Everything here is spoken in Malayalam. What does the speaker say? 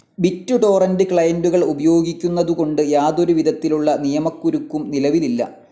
ബിറ്റ്‌ ടോറന്റ്‌ ക്ലയന്റുകൾ ഉപയോഗിക്കുന്നതു കൊണ്ട് യാതൊരു വിധത്തിലുള്ള നിയമകുരുക്കും നിലവിലില്ല.